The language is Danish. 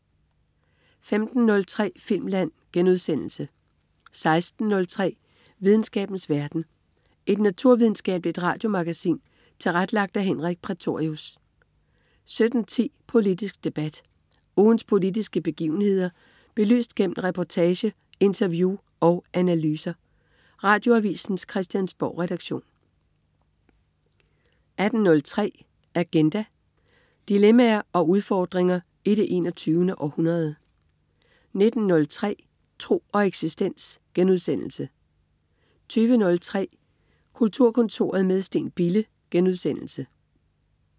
15.03 Filmland* 16.03 Videnskabens verden. Et naturvidenskabeligt radiomagasin tilrettelagt af Henrik Prætorius 17.10 Politisk debat. Ugens politiske begivenheder belyst gennem reportage, interview og analyser. Radioavisens Christiansborgredaktion 18.03 Agenda. Dilemmaer og udfordringer i det 21. århundrede 19.03 Tro og eksistens* 20.03 Kulturkontoret med Steen Bille*